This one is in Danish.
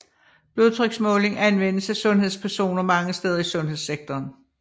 Blodtryksmåling anvendes af sundhedspersoner mange steder i sundhedssektoren